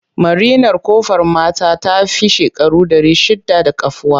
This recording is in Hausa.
Marinar Ƙofar mata ta fi shekaru ɗari shidda da kafuwa.